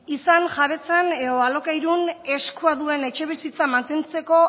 izan jabetzan edo alokairun eskua duen etxebizitza mantentzeko